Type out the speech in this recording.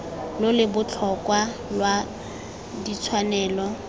lo lo botlhokwa lwa ditshwanelo